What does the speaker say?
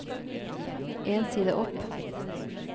En side opp